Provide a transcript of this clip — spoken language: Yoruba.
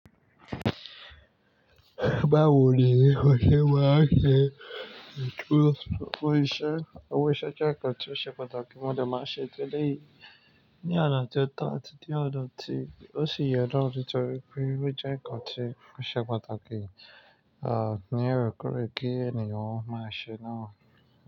Báwo ni wọ́n ṣe máa ṣe tú owó iṣẹ́, owó iṣẹ́ jẹ́ nǹkan tí ó ṣe pàtàkì, mo dẹ̀ máa ń ṣe tí eléyìí ní ọ̀nà tí ó tọ́ àti ní ọ̀nà tí ó sì yẹ na nítorí wípé ó jẹ́ ǹkan tí ó ṣe pàtàkì, ni òrékoore kí ènìyàn máa ṣe náà.